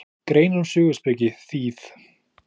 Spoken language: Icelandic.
Greinar um söguspeki, þýð.